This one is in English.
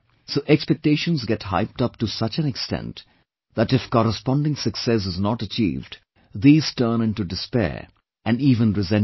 So expectations get hyped up to such an extent that if corresponding success is not achieved, these turn into despair and even resentment